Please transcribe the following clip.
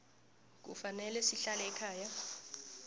kufanele sihlale ekhaya